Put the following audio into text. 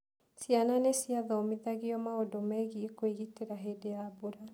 Ciana nĩ ciathomithagio maũndũ megiĩ kwĩgitĩra hĩndĩ ya mbura.